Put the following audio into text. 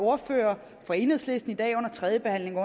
ordføreren for enhedslisten i dag under tredjebehandlingen